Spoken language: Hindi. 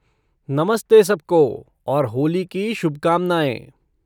नमस्ते सबको, और होली की शुभकामनाएँ!